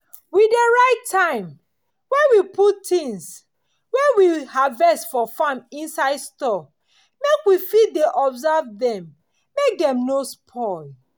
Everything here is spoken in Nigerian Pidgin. we dey write time wey we put things wey we harvest for farm inside store make we fit dey observe dem make dey no spoil.